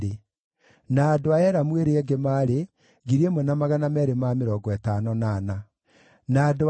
Nacio ndungata cia hekarũ ciarĩ: njiaro cia Ziha, na Hasufa, na Tabaothu,